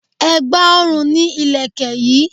Ẹ̀gbà ọrùn ni Ìlẹ̀kẹ̀ yi